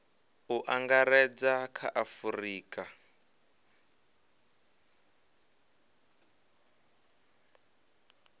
u angaredza kha a afurika